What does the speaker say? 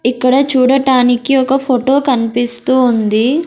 ఇక్కడ చూడటానికి ఒక ఫోటో కనిపిస్తూ ఉంది.